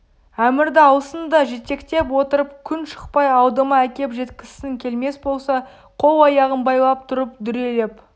әмірді алсын да жетектеп отырып күн шықпай алдыма әкеп жеткізсін келмес болса қол-аяғын байлап тұрып дүрелеп